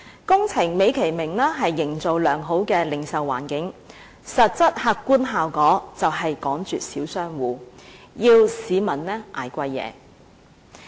工程美其名是營造良好的零售環境，但實質客觀的效果便是趕絕小商戶，要市民承受價錢昂貴的貨品。